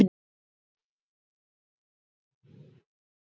Jóhann: Þannig að við fáum væntanlega nýjar fréttir á morgun?